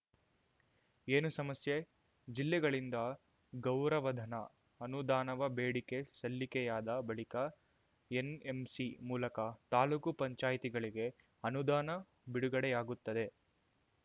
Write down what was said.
ಏನು ಸಮಸ್ಯೆ ಜಿಲ್ಲೆಗಳಿಂದ ಗೌರವಧನ ಅನುದಾನವ ಬೇಡಿಕೆ ಸಲ್ಲಿಕೆಯಾದ ಬಳಿಕ ಎನ್‌ಎಂಸಿ ಮೂಲಕ ತಾಲೂಕು ಪಂಚಾಯ್ತಿಗಳಿಗೆ ಅನುದಾನ ಬಿಡುಗಡೆಯಾಗುತ್ತದೆ